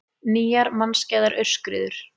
Nýjar mannskæðar aurskriður